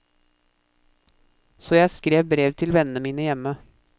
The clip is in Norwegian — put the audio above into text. Så jeg skrev brev til vennene mine hjemme.